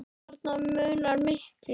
Þarna munar miklu.